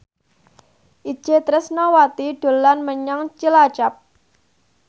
Itje Tresnawati dolan menyang Cilacap